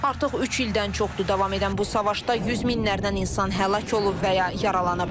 Artıq üç ildən çoxdur davam edən bu savaşda yüz minlərdən insan həlak olub və ya yaralanıb.